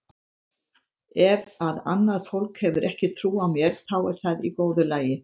Ef að annað fólk hefur ekki trú á mér þá er það í góðu lagi.